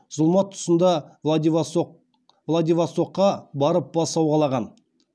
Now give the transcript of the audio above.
зұлмат тұсында владивостокқа барып бас сауғалаған